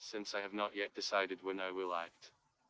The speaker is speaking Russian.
сенсор написали двойная вылазит